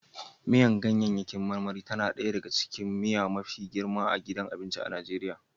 Miyar ganyaryaki marmari tana ɗaya daga cikin miya mafi girma a gidan abinci a Najeriya